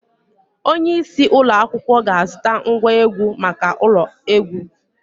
Onye isi ụlọ akwụkwọ ga-azụta ngwa egwu maka ụlọ egwu.